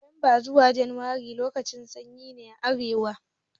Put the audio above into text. Nuwamba zuwa junairu lokacin sanyi ne a arewa